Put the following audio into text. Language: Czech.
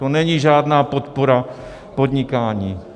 To není žádná podpora podnikání.